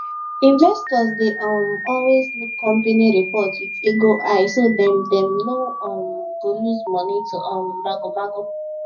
investors dey um always look company report with eagle eye so dem dem no um go lose money to um magomago